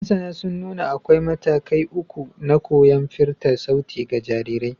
Masana sun nuna akwai matakai uku na koyon firta sauti ga jarirai.